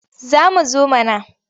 Za mu zo mana.